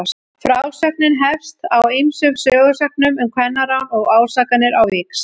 Frásögnin hefst á ýmsum sögusögnum um kvennarán og ásakanir á víxl.